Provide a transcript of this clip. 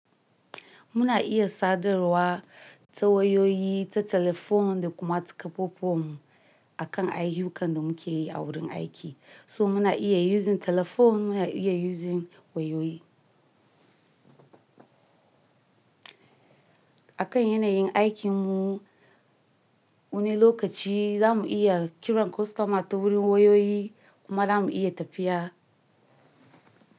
Muna iya sadarwa ta wayoyi, ta telephone da kuma ta ƙafafuwan mu akan ayyukan da muke yi a wurin aiki. So muna iya using telephone, muna iya using wayoyi. Akan yanayin aikinmu wani lokaci za mu iya kira kwastoma ta wurin wayoyi kuma za mu iya tafiya.